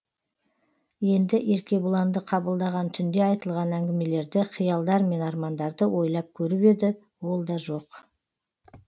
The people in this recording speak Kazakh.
енді еркебұланды қабылдаған түнде айтылған әңгімелерді қиялдар мен армандарды ойлап көріп еді ол да жоқ